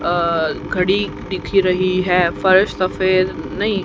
अह घड़ी दिख रही है फर्श सफेद नहीं--